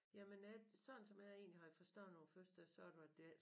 Jamen jeg sådan som jeg egentlig havde forstået på æ første så var det det ikke